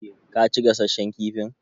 Ka ci gasasshen kifin?